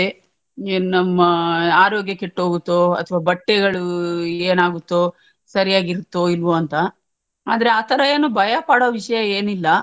ಏನ್ ನಮ್ಮಾ ಆರೋಗ್ಯ ಕೆಟ್ಟ್ಹೋಗುತ್ತೋ ಅತ್ವ ಬಟ್ಟೆಗಳು ಏನಾಗುತ್ತೋ ಸರಿಯಾಗಿರುತ್ತೋ ಇಲ್ವೋ ಅಂತ ಆದ್ರೆ ಆತರ ಏನು ಭಯ ಪಡೋ ವಿಷ್ಯ ಏನಿಲ್ಲ.